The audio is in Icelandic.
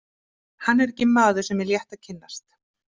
Hann er ekki maður sem er létt að kynnast.